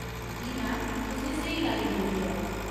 जी ma'am ! तुसें स्हेई line जोड़ी ऐ।